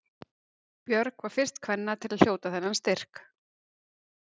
Björg var fyrst kvenna til að hljóta þennan styrk.